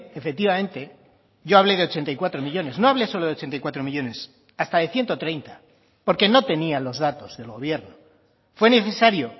efectivamente yo hablé de ochenta y cuatro millónes no hablé solo de ochenta y cuatro millónes hasta de ciento treinta porque no tenía los datos del gobierno fue necesario